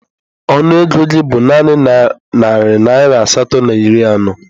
Ọnụ ego gị bụ naanị narị naira asatọ na iri anọ